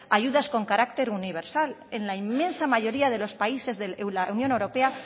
ayudas en carácter universal en la inmensa mayoría de los países de la unión europea